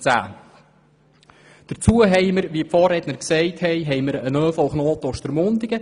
10. Hinzu kommt der von den Vorrednern erwähnte ÖV-Knoten Ostermundigen.